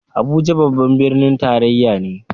Abuja babban birnin tarayya ne.